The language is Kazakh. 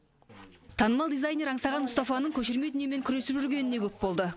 танымал дизайнер аңсаған мұстафаның көшірме дүниемен күресіп жүргеніне көп болды